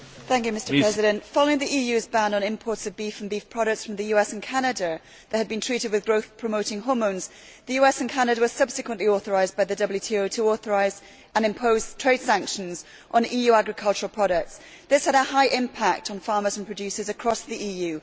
Mr President, following the EU's ban on imports of beef and beef products from the US and Canada that have been treated with growth promoting hormones, the US and Canada were subsequently authorised by the WTO to authorise and impose trade sanctions on EU agricultural products. This had a high impact on farmers and producers across the EU.